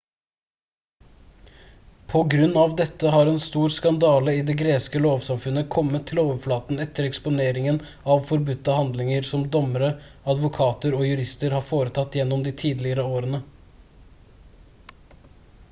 på grunn av dette har en stor skandale i det greske lovsamfunnet kommet til overflaten etter eksponeringen av forbudte handlinger som dommere advokater og jurister har foretatt gjennom de tidligere årene